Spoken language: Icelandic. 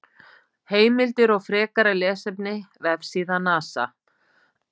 Heimildir og frekara lesefni: Vefsíða NASA.